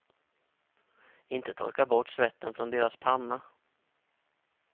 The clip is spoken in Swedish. Inte torka bort svetten från deras panna.